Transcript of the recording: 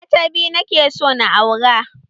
Mata biyu nake so na aura